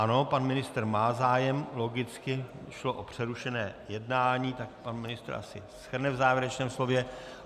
Ano, pan ministr má zájem, logicky, šlo o přerušené jednání, tak pan ministr asi shrne v závěrečném slově.